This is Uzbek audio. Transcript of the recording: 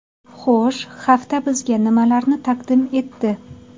Xo‘sh, hafta bizga nimalarni taqdim etdi?